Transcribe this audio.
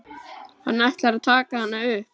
Hann ætlar að taka hana upp.